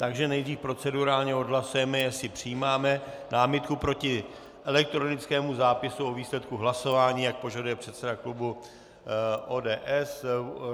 Takže nejdřív procedurálně odhlasujeme, jestli přijímáme námitku proti elektronickému zápisu o výsledku hlasování, jak požaduje předseda klubu ODS.